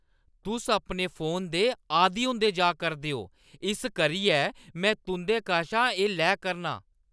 तुसेंगी अपने फोन दा झस्स बधदा जा करदा ऐ इस करियै में तुं'दे कशा एह् लै करनां ।